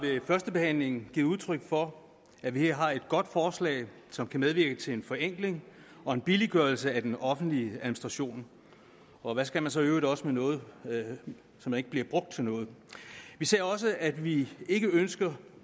vi har ved førstebehandlingen givet udtryk for at vi her har et godt forslag som kan medvirke til en forenkling og en billiggørelse af den offentlige administration og hvad skal man så i øvrigt også med noget som ikke bliver brugt til noget vi ser også at vi ikke ønsker